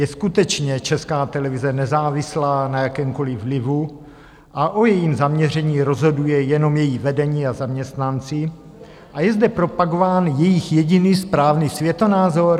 Je skutečně Česká televize nezávislá na jakémkoliv vlivu a o jejím zaměření rozhoduje jenom její vedení a zaměstnanci a je zde propagován jejich jediný správný světonázor?